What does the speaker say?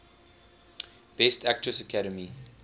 best actress academy